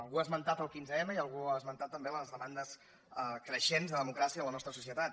algú ha esmentat el quinze m i algú ha esmentat també les demandes creixents de democràcia en la nostra societat